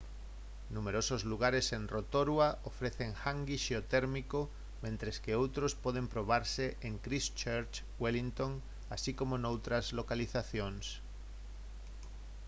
numerosos lugares en rotorua ofrecen «hangi» xeotérmico mentres que outros poden probarse en christchurch wellington así como noutras localizacións